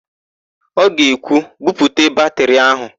Ọ ga-ekwu, "buputa batịrị áhụ̀"!